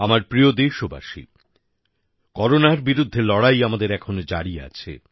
আমার প্রিয় দেশবাসী করোনার বিরুদ্ধে লড়াই আমাদের এখনো জারি আছে